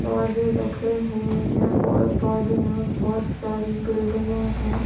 बाजे रखे हुए हैं और बाजू मे बहोत सारे बिल्डिंगे हैं।